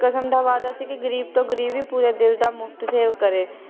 ਕਸਮ ਦਾ ਵਾਅਦਾ ਸੀ ਕਿ ਗਰੀਬ ਤੋਂ ਗਰੀਬ ਵੀ ਪੂਰੇ ਦਿਲ ਦਾ ਮੁਫਤ ਸੇਵਾ ਕਰੇ